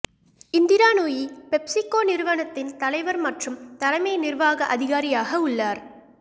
Indira Nooyi PepsiCo நிறுவனத்தின் தலைவர் மற்றும் தலைமை நிர்வாக அதிகாரியாக உள்ளார்